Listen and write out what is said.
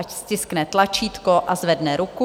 Ať stiskne tlačítko a zvedne ruku.